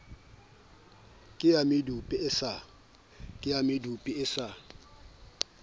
ke ya medupe e sa